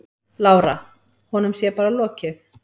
Lára: Honum sé bara lokið?